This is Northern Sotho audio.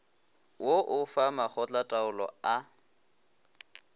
wo o fa makgotlataolo a